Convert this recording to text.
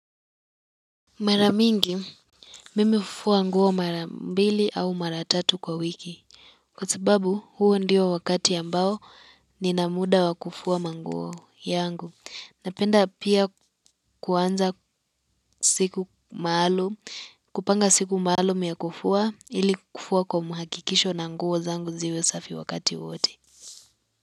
Maramingi, mimi hufua nguo mara mbili au mara tatu kwa wiki. Kwa sababu huo ndio wakati ambao nina muda wa kufua manguo yangu napenda pia kuanza siku maalumu, kupanga siku maalumu yakufua ili kufua kwa muhakikisho na nguo zangu ziwe safi wakati wote.